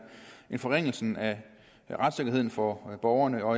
en forringelse af retssikkerheden for borgerne og